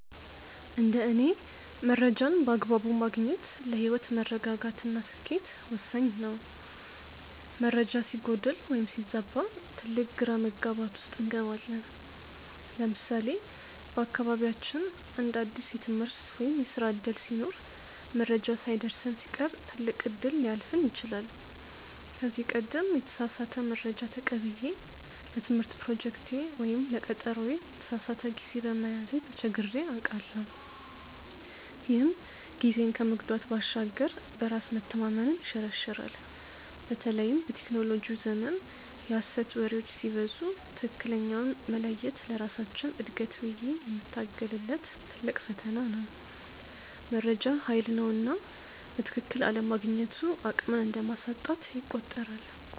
እንደ እኔ መረጃን በአግባቡ ማግኘት ለህይወት መረጋጋት እና ስኬት ወሳኝ ነው። መረጃ ሲጎድል ወይም ሲዛባ ትልቅ ግራ መጋባት ውስጥ እንገባለን። ለምሳሌ በአካባቢያችን አንድ አዲስ የትምህርት ወይም የስራ ዕድል ሲኖር መረጃው ሳይደርሰን ሲቀር ትልቅ እድል ሊያልፈን ይችላል። ከዚህ ቀደም የተሳሳተ መረጃ ተቀብዬ ለትምህርት ፕሮጀክቴ ወይም ለቀጠሮዬ የተሳሳተ ጊዜ በመያዜ ተቸግሬ አውቃለሁ፤ ይህም ጊዜን ከመጉዳት ባሻገር በራስ መተማመንን ይሸረሽራል። በተለይም በቴክኖሎጂው ዘመን የሐሰት ወሬዎች ሲበዙ ትክክለኛውን መለየት ለራሳችን እድገት ብዬ የምታገልለት ትልቅ ፈተና ነው። መረጃ ሃይል ነውና በትክክል አለማግኘቱ አቅምን እንደማሳጣት ይቆጠራል።